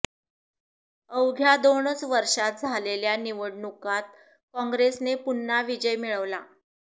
अवघ्या दोनच वर्षांत झालेल्या निवडणुकात कॉंग्रेसने पुन्हा विजय मिळविला